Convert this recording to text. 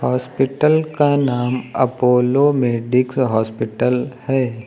Hospital का नाम Apollo Medics hospital है।